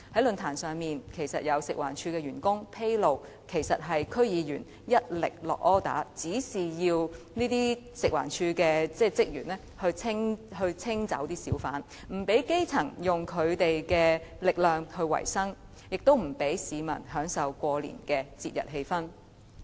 論壇上，有食環署員工披露，是有區議員一力指示要求職員清走小販，不讓基層以自己的力量維生，亦不讓市民享受過年的節日氣氛。